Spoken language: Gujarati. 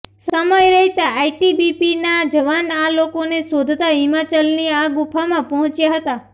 સમય રહેતા આઇટીબીપીના જવાન આ લોકોને શોધતા હિમાચલની આ ગુફામાં પહોંચ્યા હતા